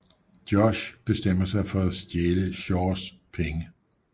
Josh bestemmer sig for at stjæle Shaws penge